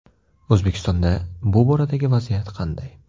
O‘zbekistonda bu boradagi vaziyat qanday?.